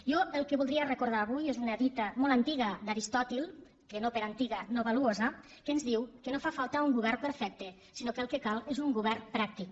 jo el que voldria recordar avui és una dita molt antiga d’aristòtil que no per antiga no valuosa que ens diu que no fa falta un govern perfecte sinó que el que cal és un govern pràctic